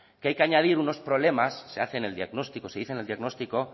que hay que añadir unos problemas se dice en el diagnóstico